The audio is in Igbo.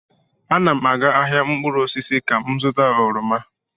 Ana m aga ahịa mkpụrụ osisi ka m zụta oroma.